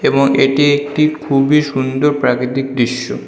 এবং এটি একটি খুবই সুন্দর প্রাকৃতিক দৃশ্য।